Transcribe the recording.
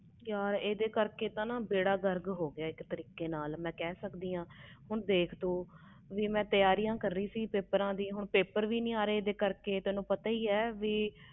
ਯਾਰ ਇਹਦੇ ਕਰਕੇ ਤਾ ਬੇੜਾ ਗਰਕ ਹੋ ਗਿਆ ਸਾਰਾ ਮੈਂ ਕਹਿ ਸਕਦੀ ਆ ਮੈਂ ਤਿਆਰੀਆਂ ਕਰ ਰਹੀ ਸੀ ਪੇਪਰਾਂ ਦੀਆ ਹੁਣ ਪੇਪਰ ਵੀ ਨਹੀਂ ਆ ਰਹੇ ਇਹਦੇ ਕਰਕੇ